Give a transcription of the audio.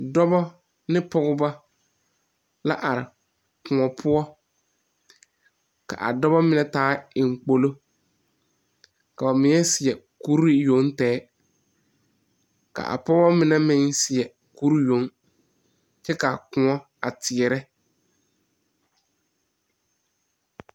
Dɔbɔ ne pogebɔ la are kõɔ poɔ ka a dobɔ mine taa eŋ kpolo ka ba mine seɛ kurre yoŋ tɛgɛ ka a pogeba mine meŋ seɛ kuree yoŋ kyɛ ka kõɔ a teɛɛrɛ.